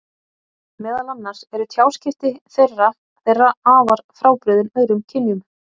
Meðal annars eru tjáskipti þeirra þeirra afar frábrugðin öðrum kynjum.